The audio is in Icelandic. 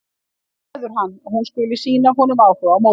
Það gleður hann að hún skuli sýna honum áhuga á móti.